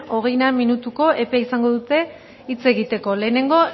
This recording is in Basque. hogeina minutuko epe izango dute hitz egiteko lehenengo